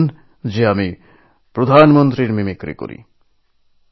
তিনি জানালেন আমিপ্রধানমন্ত্রীর মিমিক্রি করি